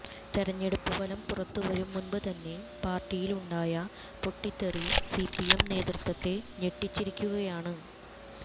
തെരഞ്ഞെടുപ്പ് ഫലം പുറത്തുവരും മുന്പ് തന്നെ പാര്ട്ടിയിലുണ്ടായ പൊട്ടിത്തെറി സിപിഎം നേതൃത്വത്തെ ഞെട്ടിച്ചിരിക്കുകയാണ്